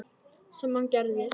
Sem hann gerir.